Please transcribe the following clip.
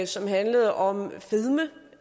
som handlede om fedme